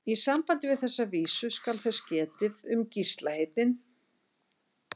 Í sambandi við þessa vísu skal þess getið um Gísla heitinn